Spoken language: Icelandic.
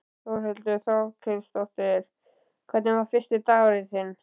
Þórhildur Þorkelsdóttir: Hvernig var fyrsti dagurinn þinn?